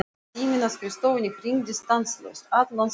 Síminn á skrifstofunni hringdi stanslaust allan sólarhringinn.